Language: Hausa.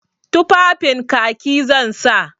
Tufafin Kaki zan sa.